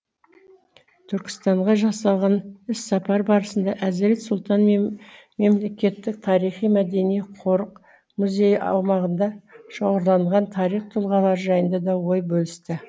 түркістанға жасалған іссапар барысында әзірет сұлтан мемлекеттік тарихи мәдени қорық музейі аумағында шоғырланған тарих тұлғалары жайында да ой бөлісті